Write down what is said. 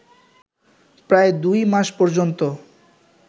প্রায় দুই মাস পর্যন্ত